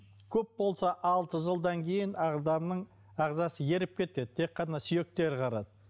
көп болса алты жылдан кейін ағзаның ағзасы еріп кетеді тек қана сүйектері қалады